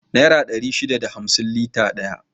Nera dari shida da hamsin lita daya